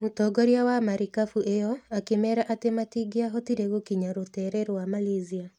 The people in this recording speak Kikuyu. Mũtongoria wa marikabu ĩyo akĩmeera atĩ matingĩahotire gũkinya rũteere rwa Malaysia.